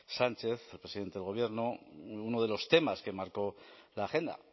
sánchez el presidente del gobierno uno de los temas que marcó la agenda